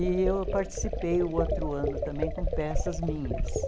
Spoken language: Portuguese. E eu participei o outro ano também com peças minhas.